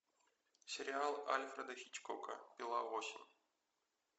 сериал альфреда хичкока пила восемь